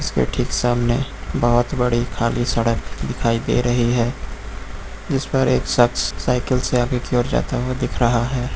इसके ठीक सामने बहुत बड़ी खाली सड़क दिखाई दे रही है जिस पर एक शख्स साइकिल से आगे की ओर जाता हुआ दिख रहा है।